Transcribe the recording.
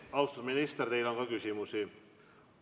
Austatud minister, teile on ka küsimusi.